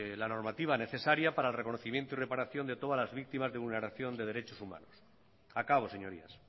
la normativa necesaria para el reconocimiento y reparación de todas las víctimas de vulneración de derechos humanos acabo señorías